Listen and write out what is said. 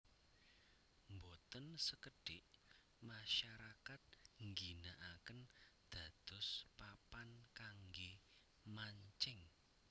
Boten sekedik masyarakat ngginakaken dados papan kangge mancing